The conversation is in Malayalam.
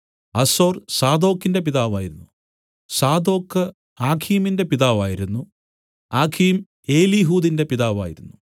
ആസോർ സാദോക്കിന്റെ പിതാവായിരുന്നു സാദോക്ക് ആഖീമിന്റെ പിതാവായിരുന്നു ആഖീം എലീഹൂദിന്റെ പിതാവായിരുന്നു